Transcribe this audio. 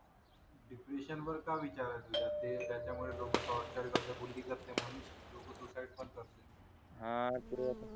depression वर काय विचार आहे तुज ते त्याचा मुळे लोक टॉर्चर करतात म्हणून लोक सुसाईड पण करतात हां